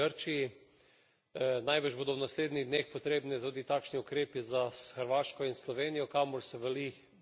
Najbrž bodo v naslednjih dneh potrebni tudi takšni ukrepi za Hrvaško in Slovenijo, kamor se vali val beguncev.